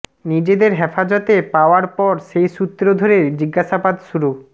নিজেদের হেফাজতে পাওয়ার পর সেই সূত্র ধরে জিজ্ঞাসাবাদ শুরু